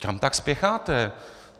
Kam tak spěcháte?